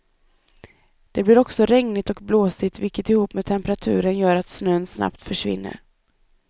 Det blir också regnigt och blåsigt, vilket ihop med temperaturen gör att snön snabbt försvinner.